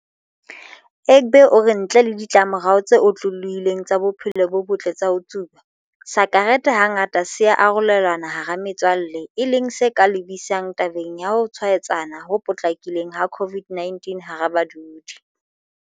Egbe o re ntle le ditlamorao tse otlolohileng tsa bophelo bo botle tsa ho tsuba, sakerete hangata se ya arolelanwa hara metswalle e leng se ka lebisang tabeng ya ho tshwaetsana ho potlakileng ha COVID-19 hara badudi.